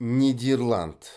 нидерланд